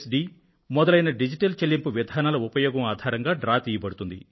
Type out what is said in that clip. D మొదలైన digital చెల్లింపు విధానాల ఉపయోగం ఆధారంగా డ్రా తీయబడుతుంది